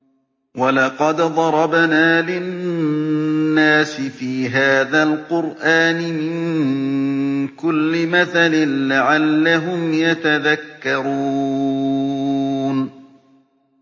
وَلَقَدْ ضَرَبْنَا لِلنَّاسِ فِي هَٰذَا الْقُرْآنِ مِن كُلِّ مَثَلٍ لَّعَلَّهُمْ يَتَذَكَّرُونَ